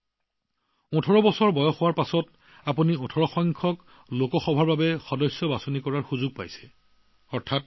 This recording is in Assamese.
তেওঁলোকে ১৮ বছৰ সম্পূৰ্ণ হোৱাৰ পিছত ১৮নং লোকসভা নিৰ্বাচনত সদস্য নিৰ্বাচনৰ সুযোগ পাইছে